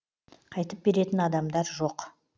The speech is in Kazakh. қайтып беретін адамдар жоқ